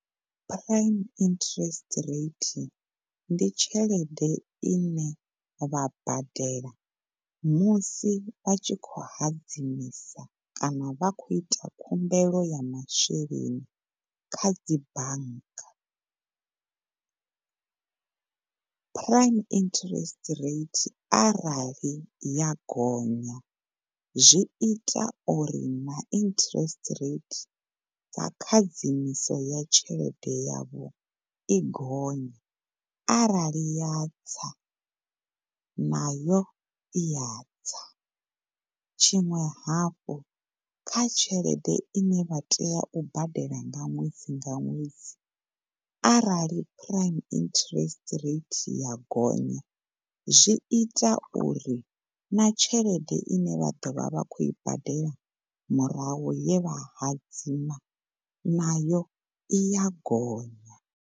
Prime interest ndi tshelede ine vha badela musi a tshi khou hadzimisa kana vha khou ita khumbelo ya masheleni kha dzi bannga. Prime interest rate arali ya gonya zwi ita uri na interest rate ya khadzimiso ya tshelede yavho i gonye arali ya nayo iya tsa tshiṅwe hafhu kha tshelede ine vha tea u badela nga ṅwedzi nga ṅwedzi arali prime interest rate ya gonya zwi ita uri na tshelede ine vha ḓovha vha khou i badela murahu ye vha hadzima na yo iya gonya.